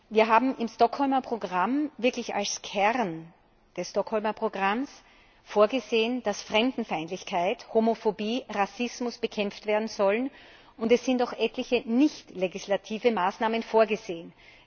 Wir haben im Stockholmer Programm wirklich als Kern des Stockholmer Programms vorgesehen, dass Fremdenfeindlichkeit, Homophobie, Rassismus bekämpft werden sollen, und es sind auch etliche nichtlegislative Maßnahmen vorgesehen.